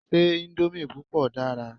Ṣé íńdómì púpọ̀ dára?